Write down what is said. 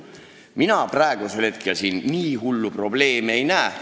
Mina praegu siin nii hullu probleemi ei näe.